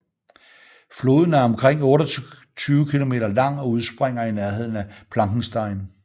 Floden er omkring 28 km lang og udspringer i nærheden af Plankenstein